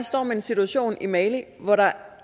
står med en situation i mali hvor der